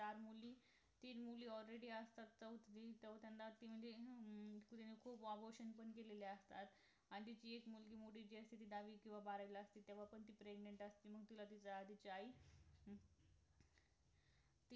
तीन मुली already असतात चौथी चौथ्यानंद म्हणजे हम्म तीन खुप abortion पण केलेले असतात आणि जी एक मोठी मुलगी असते दहावीला किंवा बारावीला असते तेव्हा पण ती pregnant असते मग तिला तुझी आई